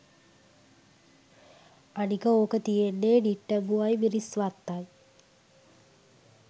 අනික ඕක තියෙන්නේ නිට්ටඹුවයි මිරිස්වත්තයි